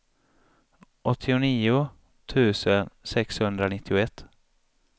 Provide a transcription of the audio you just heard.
åttionio tusen sexhundranittioett